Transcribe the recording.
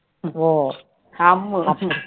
Ammu